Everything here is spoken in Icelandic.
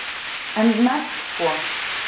En næst sko.